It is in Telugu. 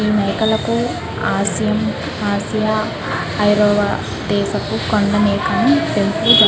ఈ మేకలు తో ఆసియ ఐరోపా దేశపు --